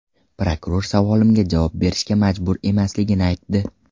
Prokuror savolimga javob berishga majbur emasligini aytdi.